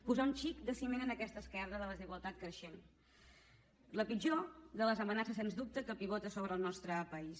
posar un xic de ciment en aquesta esquerda de desigualtat creixent la pitjor de les amenaces sens dubte que pivota sobre el nostre país